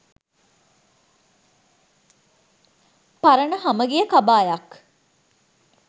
පරණ හමගිය කබායක්